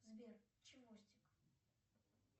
сбер чевостик